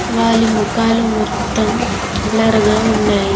వాలి ముఖాలు మొత్తం బ్లర్ గా ఉన్నాయి.